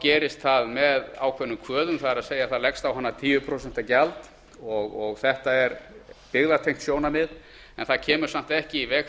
gerist það með ákveðnum kvöðum það er það leggst á hana tíu prósent gjald og þetta er byggðatengt sjónarmið en það kemur samt ekki í veg